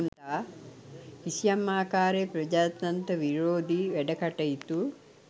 කිසියම් ආකාරයේ ප්‍රජාතන්ත්‍ර විරෝධී වැඩකටයුතු